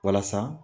Walasa